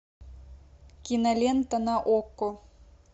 кинолента на окко